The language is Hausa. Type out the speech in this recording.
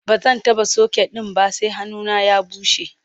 bazan taɓa socket ɗin ba sai hannuna ya bushe